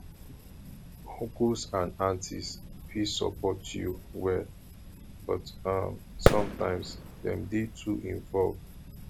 uncles and aunties fit support you well but um sometimes dem dey too involved